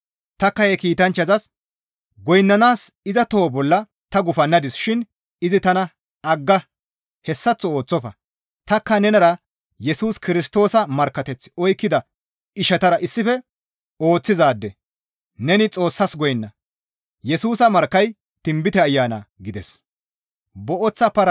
Tanikka he kiitanchchazas goynnanaas iza toho bolla ta gufannadis shin izi tana, «Agga! Hessaththo ooththofa! Tanikka nenara Yesus Kirstoosa markkateth oykkida ishatara issife ooththizaade; neni Xoossas goynna! Yesusa markkay tinbite Ayana» gides.